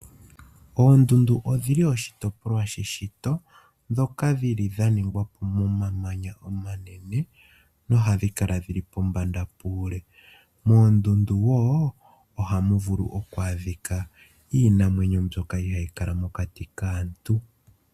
Oondundu odhili oshitopolwa sheshito ndhoka dhili dha ningwa momamanya omanene nohadhi kala dhili pombanda puule. Moondundu wo ohamu vulu oku adhika iinamwenyo mbyoka ihayi kala mokati kaantu.